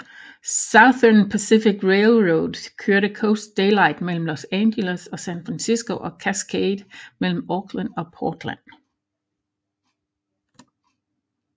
Southern Pacific Railroad kørte Coast Daylight mellem Los Angeles og San Francisco og Cascade mellem Oakland og Portland